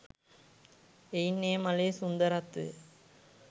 එයින් ඒ මලේ සුන්දරත්වය